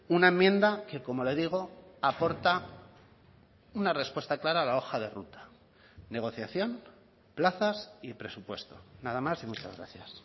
una enmienda que como le digo aporta una respuesta clara a la hoja de ruta negociación plazas y presupuesto nada más y muchas gracias